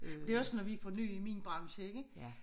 Det er også når vi får nye i min branche ikke